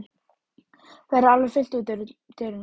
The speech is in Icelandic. Verður alveg fullt út úr dyrum?